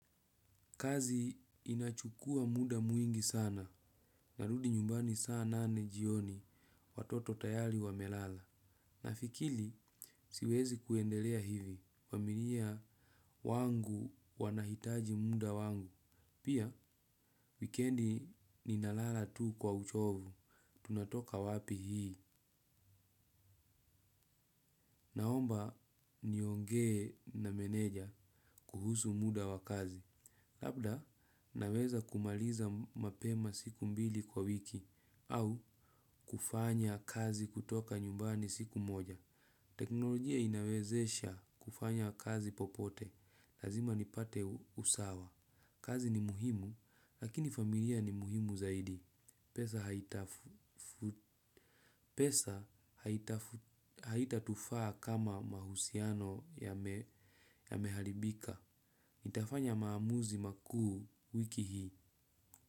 Kazi inachukua muda mwingi sana, narudi nyumbani saa nane jioni watoto tayari wamelala. Nafikili siwezi kuendelea hivi, familia wangu wanahitaji muda wangu. Pia, wikiendi ninalala tu kwa uchovu, tunatoka wapi hii. Naomba niongee na meneja kuhusu muda wa kazi. Labda naweza kumaliza mapema siku mbili kwa wiki au kufanya kazi kutoka nyumbani siku moja. Teknolojia inawezesha kufanya kazi popote. Lazima nipate usawa. Kazi ni muhimu, lakini familia ni muhimu zaidi. Pesa haitatufaa kama mahusiano ya mehalibika. Nitafanya maamuzi makuu wiki hii.